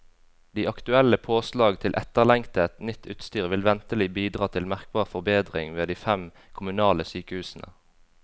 De aktuelle påslag til etterlengtet, nytt utstyr vil ventelig bidra til merkbar forbedring ved de fem kommunale sykehusene.